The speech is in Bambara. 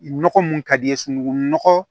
Nɔgɔ mun ka di i ye sunukunnɔgɔ